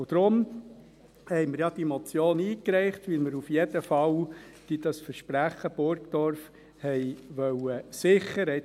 Deshalb haben wir auch diese Motion eingereicht, weil wir das Versprechen Burgdorf auf jeden Fall sichern wollten.